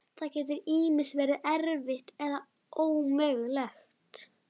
Það getur ýmist verið erfitt eða ómögulegt.